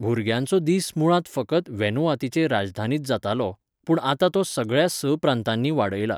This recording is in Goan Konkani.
भुरग्यांचो दीस मुळांत फकत व्हॅनुआतुचे राजधानींत जातालो, पूण आतां तो सगळ्या स प्रांतांनी वाडयला.